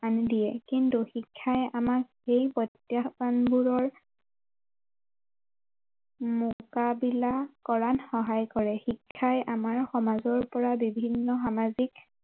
আনি দিয়ে কিন্তু শিক্ষাই আমাক সেই প্ৰত্যাহ্বানবোৰৰ মোকাবিলা কৰাত সহায় কৰে শিক্ষাই আমাৰ সমাজৰ পৰা বিভিন্ন সামাজিক